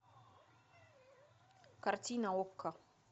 картина окко